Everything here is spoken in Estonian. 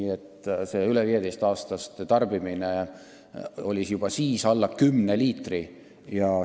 Aga see üle 15-aastaste keskmine tarbimine oli meil juba siis alla 10 liitri aastas.